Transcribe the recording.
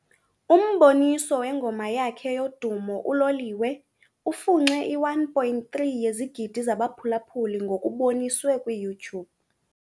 Umboniso wengoma yakhe yodumo, "uLoliwe", ufunxe i-1.3 yezigidi zabaphulaphuli ngokuboniswe kwi YouTube.